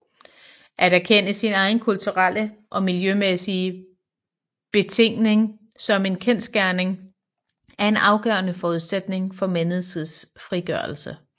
At erkende sin egen kulturelle og miljømæssige betingning som en kendsgerning er en afgørende forudsætning for menneskets frigørelse